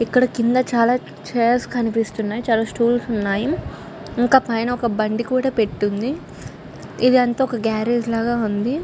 ఇక్కడ కింద చాల చైర్స్ కనిపిస్తున్నాయి చాల స్తూల్స్ ఉన్నాయ్ ఇంకా పైన ఒక బండి కూడా పెట్టి ఉంది .ఇదంతా ఒక గారేజ్ లాగా ఉంది .